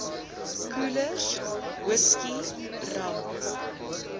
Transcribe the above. koelers whisky rum